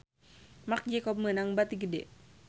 Marc Jacob meunang bati gede